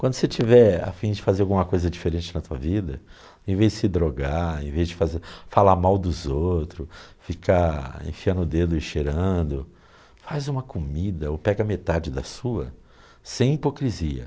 Quando você tiver afim de fazer alguma coisa diferente na tua vida, em vez de se drogar, em vez de fazer, falar mal dos outros, ficar enfiando o dedo e cheirando, faz uma comida ou pega metade da sua, sem hipocrisia.